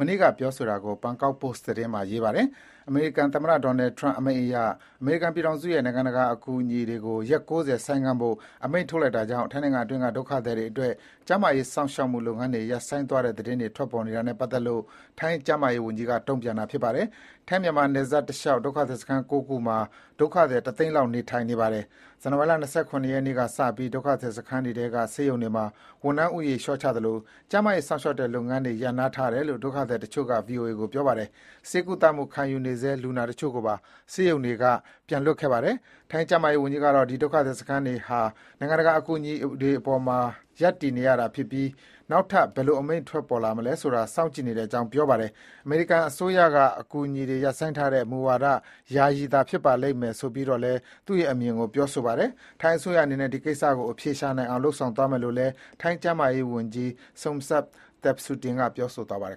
မနေ့က ပြောဆိုတာကို ဘန်ကောက်ပို့စ် သတင်းစာမှာ ရေးသားပါတယ်။ အမေရိကန် သမ္မတ Donald Trump အမိန့်အရ အမေရိကန်ပြည်ထောင်စုရဲ့ နိုင်ငံတကာအကူအညီတွေကို ရက် ၉၀ ဆိုင်းငံ့ဖို့ အမိန့်ထုတ်လိုက်တာကြောင့် ထိုင်းနိုင်ငံအတွင်းက ဒုက္ခသည်တွေအတွက် ကျန်းမာရေးစောင့်ရှောက်မှုလုပ်ငန်းတွေ ရပ်ဆိုင်းသွားတဲ့ သတင်းတွေ ထွက်ပေါ်နေတာနဲ့ ပတ်သက်လို့ ထိုင်း ကျန်းမာရေးဝန်ကြီးက တုံ့ပြန်ပြောဆိုတာပါ။ ထိုင်းမြန်မာနယ်စပ်တလျှောက် ဒုက္ခသည်စခန်း ၉ ခုမှာ ဒုက္ခသည် တသိန်းလောက်နေထိုင်ပါတယ်။ ဇန်နဝါရီလ ၂၇ ရက်နေ့က စပြီး ဒုက္ခသည်စခန်းတွေထဲက ဆေးရုံတွေမှာ ဝန်ထမ်းဦးရေလျော့ချသလို ကျန်းမာရေးစောင့်ရှောက်တဲ့လုပ်ငန်းတွေ ရပ်နားထားတယ်လို့ ဒုက္ခသည်တချို့က VOA ကို ပြောပါတယ်။ ဆေးကုသမှုခံယူနေဆဲ လူနာတချို့ကိုပါ ဆေးရုံတွေက ပြန်လွှတ်ခဲ့ပါတယ်။ ထိုင်း ကျန်းမာရေးဝန်ကြီးကတော့ ဒီ ဒုက္ခသည်စခန်းတွေဟာ နိုင်ငံတကာ အကူအညီပေါ်မှာ ရပ်တည်ရတာဖြစ်ပြီး နောက်ထပ် ဘယ်လိုအမိန့်တွေထွက်ပေါ်လာမယ်ဆိုတာ စောင့်ကြည့်နေတဲ့အကြောင်း ပြောဆိုပါတယ်။ အမေရိကန်အစိုးရက အကူအညီတွေ ရပ်ဆိုင်းထားတဲ့ မူဝါဒဟာ ယာယီသာဖြစ်ပါလိမ့်မယ်ဆိုပြီးတော့လည်း သူ့ရဲ့ အမြင်ကို ပြောဆိုပါတယ်။ ထိုင်းအစိုးရအနေနဲ့ ဒီကိစ္စကိုအဖြေရှာနိုင်အောင် လုပ်ဆောင်သွားမယ်လို့လည်း ထိုင်းကျန်းမာရေးဝန်ကြီး Somsak Thepsutin ပြောဆိုသွားပါတယ်